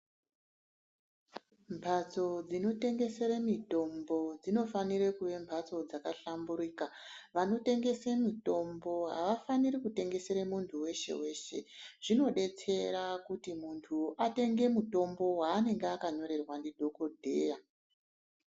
Mbatso dzinotengesere mitombo dzinofana kuva mbatso dzakahlamburika vantu vanotengesa mutombo havafani kutengesera muntu weshe weshe zvinodetsera kuti muntu atenge mutombo wanege akanyorerwa ndidhokodheya.